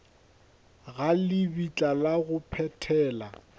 ga lebitla la go phethela